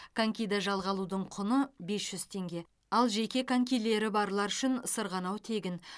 конькиді жалға алу құны бес теңге ал жеке конькилері барлар үшін сырғанау тегін